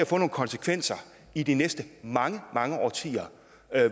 få nogle konsekvenser i de næste mange mange årtier